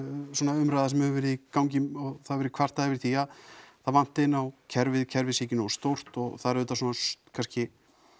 umræða sem hefur verið í gangi og það hefur verið kvartað yfir því að það vanti inná kerfið kerfið sé ekki nógu stórt og það eru auðvitað svona kannski